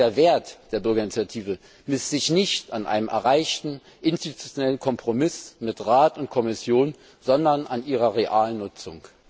Denn der Wert der Bürgerinitiative misst sich nicht an einem erreichten interinstitutionellen Kompromiss mit Rat und Kommission, sondern an ihrer realen Nutzung.